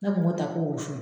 Ne kun b'o ta ko funfun